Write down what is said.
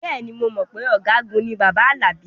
Bẹ́ẹ̀ ni, mo mọ̀ pé ọ̀gágun ni bàbá Alabi